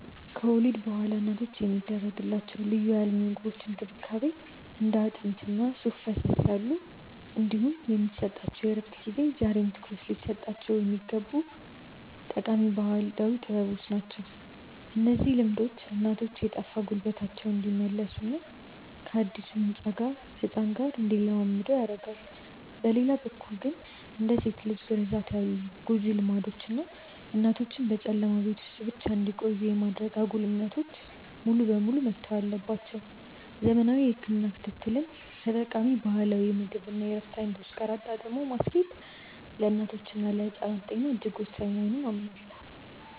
ከወሊድ በኋላ እናቶች የሚደረግላቸው ልዩ የአልሚ ምግቦች እንክብካቤ (እንደ አጥሚት እና ሱፍ ፈሰስ ያሉ) እንዲሁም የሚሰጣቸው የእረፍት ጊዜ ዛሬም ትኩረት ሊሰጣቸው የሚገቡ ጠቃሚ ባህላዊ ጥበቦች ናቸው። እነዚህ ልምዶች እናቶች የጠፋ ጉልበታቸውን እንዲመልሱና ከአዲሱ ህፃን ጋር እንዲላመዱ ይረዳሉ። በሌላ በኩል ግን፣ እንደ ሴት ልጅ ግርዛት ያሉ ጎጂ ልማዶች እና እናቶችን በጨለማ ቤት ውስጥ ብቻ እንዲቆዩ የማድረግ አጉል እምነቶች ሙሉ በሙሉ መተው አለባቸው። ዘመናዊ የህክምና ክትትልን ከጠቃሚ ባህላዊ የምግብ እና የእረፍት አይነቶች ጋር አጣጥሞ ማስኬድ ለእናቶችና ለህፃናት ጤና እጅግ ወሳኝ መሆኑን አምናለሁ።